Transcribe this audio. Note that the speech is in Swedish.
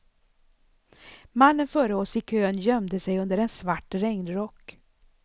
Mannen före oss i kön gömde sig under en svart regnrock.